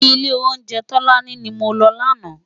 Ilé óunjè Tolani ni mó lò làná